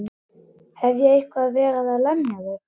Hef ég eitthvað verið að lemja þig?